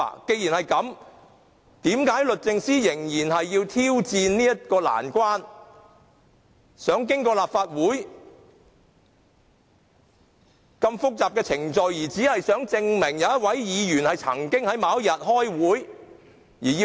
既然如此，為何律政司仍然要挑戰難關，想經過立法會複雜的程序索取有關的紀錄，而只是想證明一位議員曾經在某天開會呢？